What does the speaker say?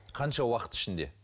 қанша уақыт ішінде